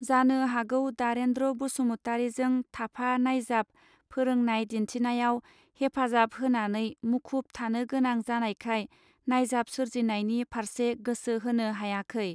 जानो हागौ दारेंद्र बसुमतारीजों थाफा नायजाब फोरोंनाय दिन्थिनायाव हेफाजाब होनानै मुखुब थानो गोनां जानायखाय नायजाब सोरजिनायनि फारसे गोसो होनो हायाखै.